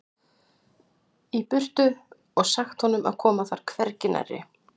í burtu og sagt honum að koma þar hvergi nærri.